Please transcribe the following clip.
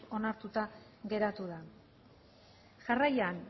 onartuta geratu da jarraian